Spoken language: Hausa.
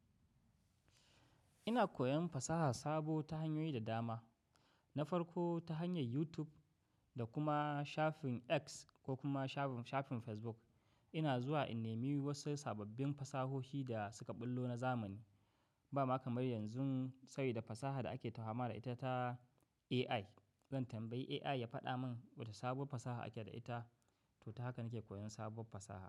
Ina koyon fasaha sabo ta hanyoyi da dama. Na farko ta hanyar YouTube da kuma shafin X ko kuma shafin Facebook. Ina zuwa in nemi wasu sababbin fasahohi da suka ɓullo na zamani. Ba ma kamar yanzu sai da fasaha da ake tahama da ita ta AI. Zan tambayi AI ya faɗa min wata sabuwar fasaha ake da ita. To, ta haka nake koyon sabuwar fasaha.